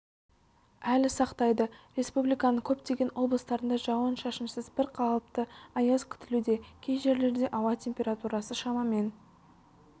әлі сақтайды республиканың көптеген облыстарында жауын-шашынсыз бір қалыпты аяз күтілуде кей жерлерде ауа температурасы шамамен